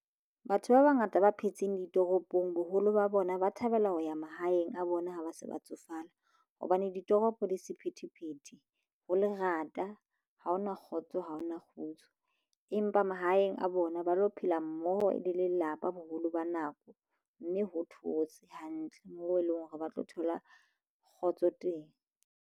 Batho ba bangata ba phetseng ditoropong boholo ba bona ba thabela ho ya mahaeng a bona ha ba se ba tsofala hobane ditoropo di sephethephethe ho lerata ha ho na kgotso ha hona kgutso empa mahaeng a bona ba lo phela mmoho e le lelapa boholo ba nako mme ho thotse hantle moo eleng hore ba tlo thola kgotso teng.